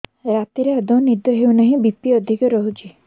ରାତିରେ ଆଦୌ ନିଦ ହେଉ ନାହିଁ ବି.ପି ଅଧିକ ରହୁଛି